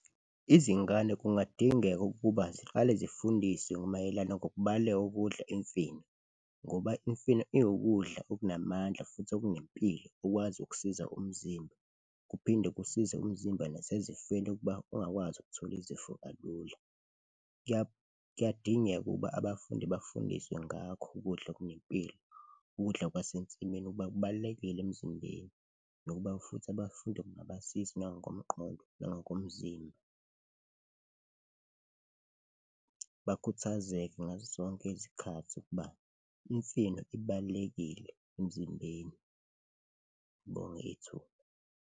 Izingane kungadingeka ukuba ziqale zifundiswe mayelana ngokubaluleka kokudla imfino ngoba imifino iwukudla okunamandla futhi okunempilo, ukwazi ukusiza umzimba kuphinde kusize umzimba nasezifeni ukuba ungakwazi ukuthola izifo kalula. Kuyadingeka ukuba abafundi bafundiswe ngakho ukudla okunempilo, ukudla kwasensimini ukuba kubalulekile emzimbeni nokuba futhi abafundi kungabasiza nangokomqondo nangokomzimba, bakhuthazeke ngazo zonke izikhathi ukuba imifino ibalulekile emzimbeni. Ngibonge ithuba.